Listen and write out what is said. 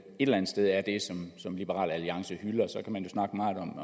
et eller sted er det som liberal alliance hylder så kan man snakke meget